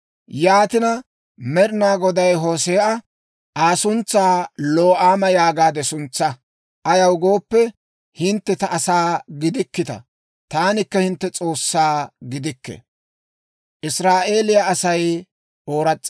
Yaatina, Med'inaa Goday Hoose'a, «Aa suntsaa ‹Lo'aama› yaagaade suntsaa. Ayaw gooppe, hintte ta asaa gidikkita; taanikka hintte S'oossaa gidikke» giyaawaa.